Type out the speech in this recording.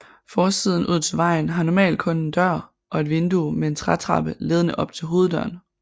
Forsiden ud til vejen har normalt kun en dør og et vindue med en trætrappe ledende op til hoveddøren